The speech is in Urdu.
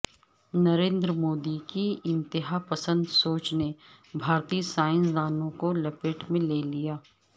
نریندر مودی کی انتہاپسند سوچ نے بھارتی سائنس دانوں کو لپیٹ میں لے لیا